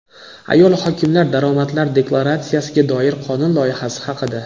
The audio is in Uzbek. Ayol hokimlar daromadlar deklaratsiyasiga doir qonun loyihasi haqida.